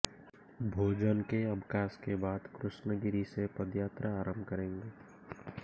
भोजन के अवकाश के बाद कृष्ण गिरी से पदयात्रा आरंभ करेंगे